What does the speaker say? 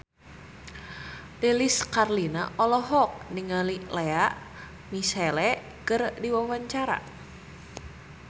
Lilis Karlina olohok ningali Lea Michele keur diwawancara